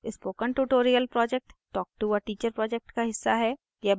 spoken tutorial project talktoa teacher project का हिस्सा है